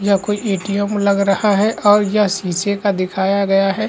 यह कोई एटीएम लग रहा है और यह शीशे का दिखाया गया है।